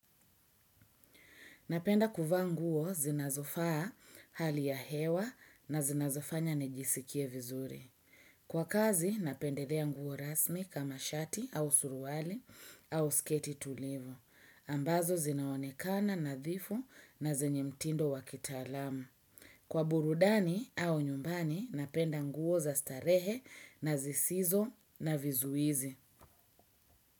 Napenda kuvaa nguo zinazofaa hali ya hewa na zinazofanya nejisikie vizuri. Kwa kazi napendelea nguo rasmi kama shati au suruwali au sketi tulivu. Ambazo zinaonekana nadhifu na zenye mtindo wakitalamu. Kwa burudani au nyumbani napenda nguo za starehe na zisizo na vizuizi.